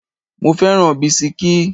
Mo fẹ́ràn bisikí.